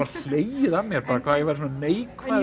hlegið að mér bara hvað ég væri svona neikvæður